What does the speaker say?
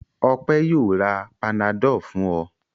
Ọpẹ́ yóò ra Panadol fún ọ.